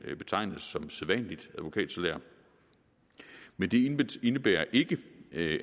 betegnes som sædvanligt advokatsalær men det indebærer ikke